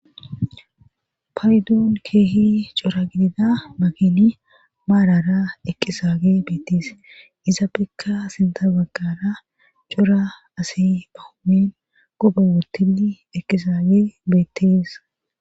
payduun keehi cora gidida magini maarara eqqisaage beetties iza bikka sinta baggara cora asi ahumen gobe wotii eqqizaage beettees